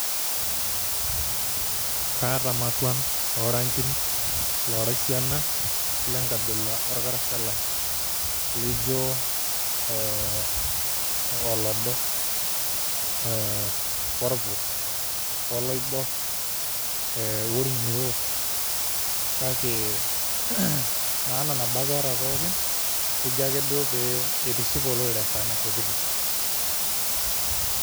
Kaaata matuan o rangin loora esiana le nkabila orkarasha lai lijo ee olodo ee orpus, oloibor, orng'iroo kake maana nabo ake eeta pookin keji ake duo pee itiship olorere esaa naishopito.